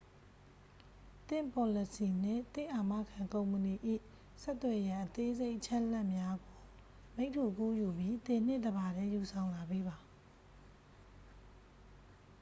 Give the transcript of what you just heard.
သင့်ပေါ်လစီနှင့် သင့်အာမခံကုမ္ပဏီ၏ ဆက်သွယ်ရန် အသေးစိတ်အချက်အလက်များကို မိတ္တူကူးယူပြီး သင်နှင့်တစ်ပါတည်း ယူဆောင်လာပေးပါ